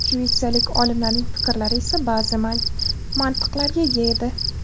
Shvetsiyalik olimlarning fikrlari esa ba’zi mantiqlarga ega edi.